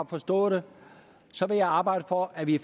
forstået vil jeg arbejde for at vi